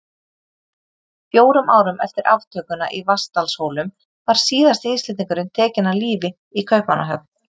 Fjórum árum eftir aftökuna í Vatnsdalshólum var síðasti Íslendingurinn tekinn af lífi í Kaupmannahöfn.